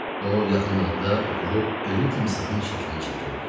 O yaxınlıqda oturub ölü timsahın şəklini çəkirdi.